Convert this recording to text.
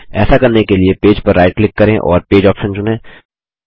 ऐसा करने के लिए पेज पर राइट क्लिक करें और पेज आप्शन चुनें